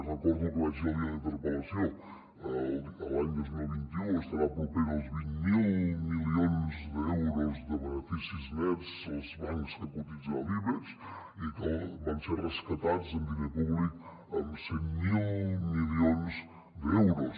recordo el que vaig dir el dia de la interpel·la·ció l’any dos mil vint u estaran propers als vint miler milions d’euros de beneficis nets els bancs que cotitzen a l’ibex i que van ser rescatats amb diner públic amb cent miler milions d’euros